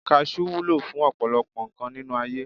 Kajú wúlò fún ọ̀pọ̀lọpọ̀ nǹkan nínú ayé